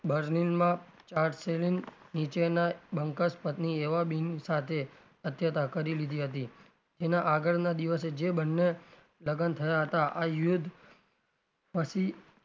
બર્નીલમાં ચાર્જેલીંગ નીચેનાં બંકાસપત્ની એવાં બિન સાથે કરી લીધી હતી જેનાં આગળના દિવસે જે બંને લગન થયા હતાં આ યુદ્ધ પછી,